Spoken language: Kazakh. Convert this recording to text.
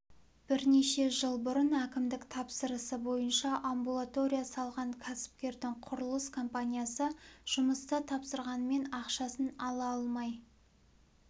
бірнеше жыл бұрын әкімдік тапсырысы бойынша амбулатория салған кәсіпкердің құрылыс компаниясы жұмысты тапсырғанымен ақшасын ала алмай